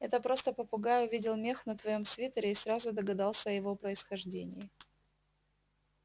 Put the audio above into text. это просто попугай увидел мех на твоём свитере и сразу догадался о его происхождении